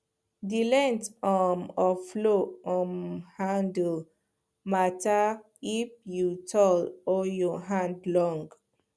the length um of plow um handle matter if you tall or your hand long